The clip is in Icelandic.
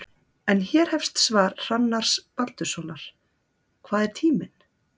En hér hefst svar Hrannars Baldurssonar: Hvað er tíminn?